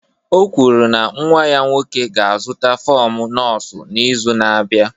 O kwuru na nwa ya nwoke ga-azụta fọm nọọsụ n'izu na-abịa.